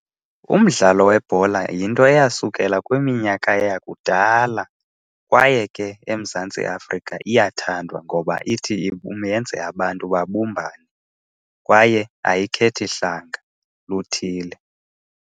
Umdlalo webhola yinto eyasukela kwiminyaka yakudala, kwaye ke eMzantsi Afrika iyathandwa ngoba ithi yenze abantu babumbane kwaye ayikhethi hlanga luthile.